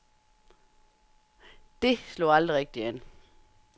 Det slog aldrig rigtigt an.